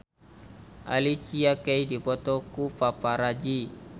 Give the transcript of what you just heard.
Alicia Keys dipoto ku paparazi